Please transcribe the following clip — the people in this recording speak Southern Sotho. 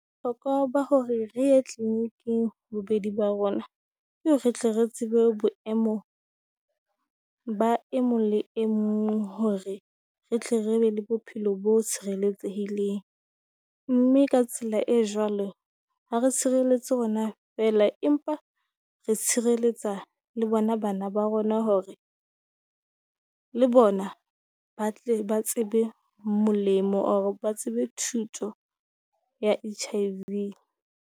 Hlokwa ba hore re ye tleniking bobedi ba rona, ke re tle re tsebe boemo ba e mong le e mong hore re tle re be le bophelo bo tshireletsehileng. Mme ka tsela e jwale ha re tshireletse rona feela, empa re tshireletsa le bona bana ba rona hore le bona ba tle ba tsebe molemo wa hore ba tsebe thuto ya H_I_V.